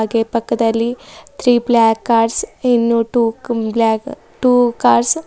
ಹಾಗೆ ಪಕ್ಕದಲ್ಲಿ three block cars ಇನ್ನು ಟು ಬ್ಲಾಕ್ ಟು ಕಾರ್ಸ್ --